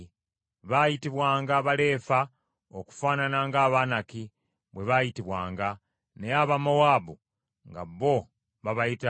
Baayitibwanga Baleefa okufaanana nga Abanaki bwe baayitibwanga, naye Abamowaabu nga bo babayita Bemi.